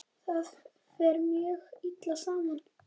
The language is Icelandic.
Það fer mjög illa saman.